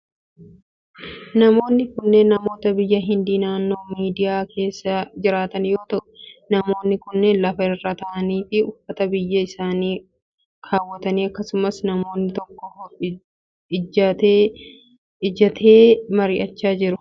Namoonni kenneen, namoota biyya Hindii naannoo baadiyaa keessa jiraatan yoo ta'u, namoonni kunneen lafa irra ta'anii fi uffata biyya isaanii kaawwatanii akkasumas namni tokko ijjatee mari'achiisaa jira. Namoonni kun, marii yokin leenjii akka kamii mari'achaa jiru?